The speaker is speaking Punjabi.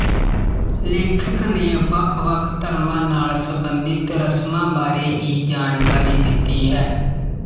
ਲੇਖਕ ਨੇ ਵੱਖ ਵੱਖ ਧਰਮਾਂ ਨਾਲ ਸਬੰਧਿਤ ਰਸਮਾਂ ਬਾਰੇ ਹੀ ਜਾਣਕਾਰੀ ਦਿੱਤੀ ਹੈ